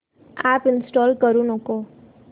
app install करू नको